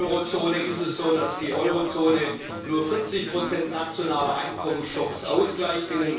In der Eurozone ist es so, dass die Eurozone nur 40 nationaler Einkommensschocks ausgleicht.